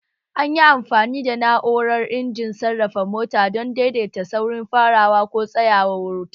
An yi amfani da na'urar injimin sarrafa mota don daidaita saurin farawa ko tsayawar wutar